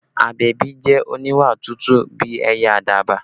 Abebi jẹ́ oníwà tútù bí ẹyẹ àdàbà